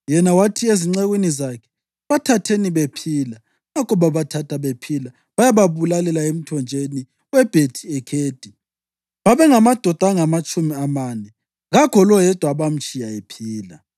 Yena wathi ezincekwini zakhe, “Bathatheni bephila!” Ngakho babathatha bephila bayababulalela emthonjeni weBhethi-Ekhedi, babengamadoda angamatshumi amane. Kakho loyedwa abamtshiya ephila.